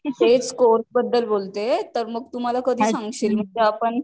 तेच कोर्स बद्दल बोलतीये मग तुम्हाला कधी सांगशील मग आपण